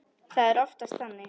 Það er oftast þannig.